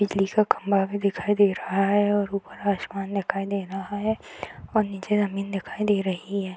बिजली का खम्भा भी दिखाई दे रहा है और ऊपर आसमान दिखाई दे रहा है और निचे जमीन दिखाई दे रही है |